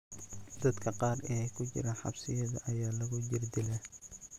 Dadka qaar ee ku jira xabsiyada ayaa lagu jirdilaa.